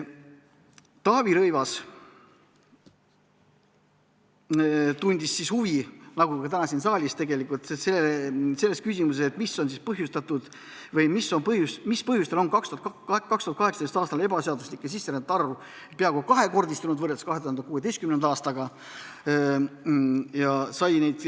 Taavi Rõivas tundis huvi, nagu ka täna siin saalis, mis põhjustel 2018. aastal ebaseaduslike sisserändajate arv võrreldes 2016. aastaga peaaegu kahekordistus.